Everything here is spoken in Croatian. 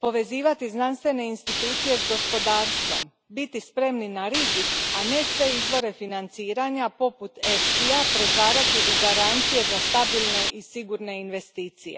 povezivati znanstvene institucije s gospodarstvom, biti spremni na rizik, a ne sve izvore financiranja poput EFSI ja pretvarati u garancije za stabilne i sigurne investicije.